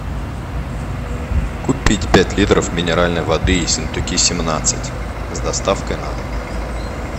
купить пять литров минеральной воды ессентуки семнадцать с доставкой на дом